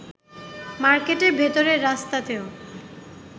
মার্কেটের ভেতরের রাস্তাতেও